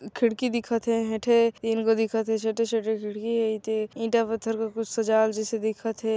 खिड़की दिखत हे एठे तीन गो दिखथ हे छोटे छोटे खिड़की ए थे ईटा पत्थर के कुछ सजाल जैसे दिखथ हे।